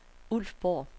Ulfborg